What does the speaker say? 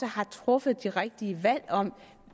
har truffet de rigtige valg om